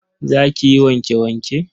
Za ki yi wanke-wanke?